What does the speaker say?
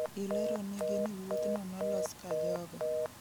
ileronigi ni wuothno nolos ka jogo